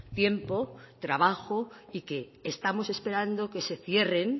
tiempo trabajo y que estamos esperando que se cierren